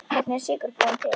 Hvernig er sykur búinn til?